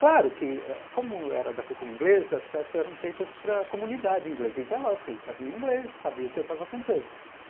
Claro que ãh, como era da cultura inglesa, as peças eram feitas para a comunidade inglesa, então é lógico que eles sabiam inglês e sabiam o que eu estava cantando.